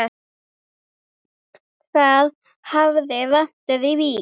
Það hafi vantað í Vík.